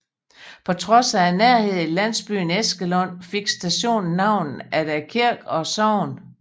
På trods af nærheden til landsbyen Æskelund fik stationen navn efter kirke og sogn